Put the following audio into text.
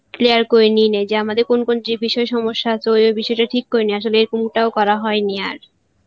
clear করে যে আমাদের কোন কোন যে বিষই সমস্সা আছে ওই ওই বিষয়টা ঠিক করে নি আসলে টাও করা হয়েনি আর